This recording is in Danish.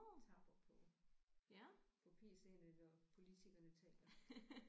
Tapper på på PC'erne når politikerne taler